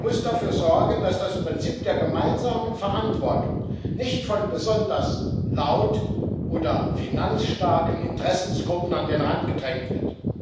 Sie muss dafür sorgen, dass das Prinzip der gemeinsamen Verantwortung nicht von besonders laut oder finanzstarken Interessengruppen an den Rand gedrängt wird.